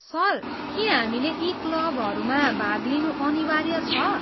Sir, के हामीले यी क्लबहरूमा भाग लिनु अनिवार्य छ?